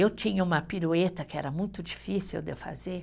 Eu tinha uma pirueta que era muito difícil de fazer.